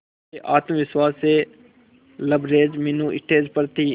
पूरे आत्मविश्वास से लबरेज मीनू स्टेज पर थी